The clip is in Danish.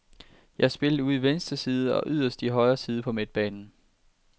Jeg har spillet ude i venstre side og yderst i højre side på midtbanen.